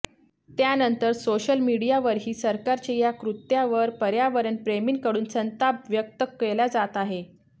त्यानंतर सोशल मीडियावरही सरकारच्या या कृत्यावर पर्यावरण प्रेमींकडून संताप व्यक्त केला जात आहे